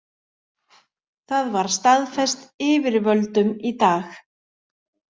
Það var staðfest yfirvöldum í dag